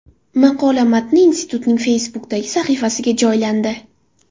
Maqola matni institutning Facebook’dagi sahifasiga joylandi .